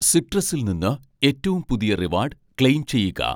സിട്രസിൽ നിന്ന് ഏറ്റവും പുതിയ റിവാഡ്, ക്ലെയിം ചെയ്യുക